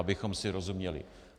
Abychom si rozuměli.